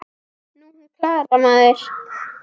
Nú, hún Klara, maður!